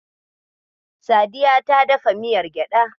Sadiya ta dafa miyar gyaɗa.